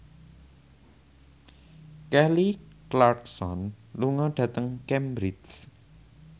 Kelly Clarkson lunga dhateng Cambridge